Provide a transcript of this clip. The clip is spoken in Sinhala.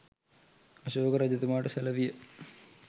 අශෝක රජතුමාට සැලවිය.